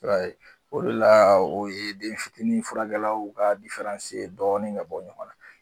I b'a ye o de la o ye den fitini furakɛlaw ka ye dɔɔni ka bɔ ɲɔgɔn na.